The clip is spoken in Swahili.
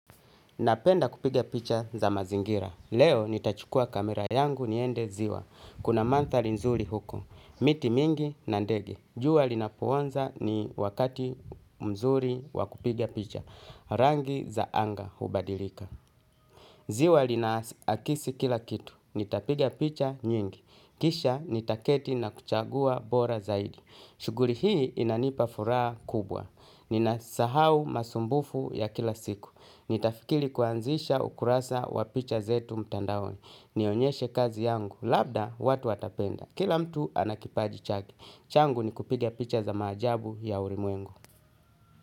Napenda kupiga picha za mazingira. Leo nitachukua kamera yangu niende ziwa. Kuna mandhari nzuri huko. Miti mingi na ndege. Jua linapoanza ni wakati mzuri wa kupiga picha. Rangi za anga hubadilika. Ziwa linaakisi kila kitu. Nitapiga picha nyingi. Kisha nitaketi na kuchagua bora zaidi. Shughuri hii inanipa furaha kubwa. Ninasahau masumbufu ya kila siku. Nitafikili kuanzisha ukurasa wa picha zetu mtandaoni. Nionyeshe kazi yangu. Labda watu watapenda. Kila mtu ana kipaji chake. Changu ni kupiga picha za maajabu ya urimwengu.